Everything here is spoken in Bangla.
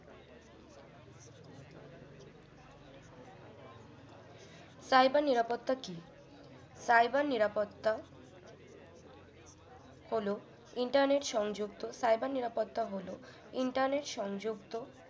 Cyber নিরাপত্তা কি Cyber নিরাপত্তা হল internet সংযুক্ত Cyber নিরাপত্তা হল internet সংযুক্ত